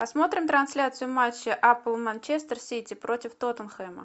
посмотрим трансляцию матча апл манчестер сити против тоттенхэма